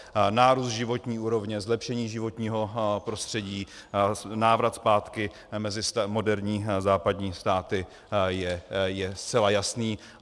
Nárůst životní úrovně, zlepšení životního prostředí, návrat zpátky mezi moderní západní státy je zcela jasný.